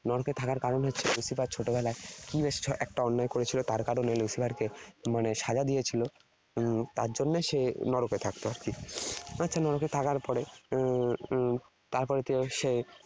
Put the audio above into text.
নরকে থাকার কারণ হচ্ছে Lucifer ছোটবেলায় কি বেশ একটা অন্যায় করেছিল, তার কারণে Lucifer কে মানে সাজা দিয়েছিল। তার জন্যে সে নরকে থাকত আর কি। আচ্ছা নরকে থাকার পরে হম তারপরে সে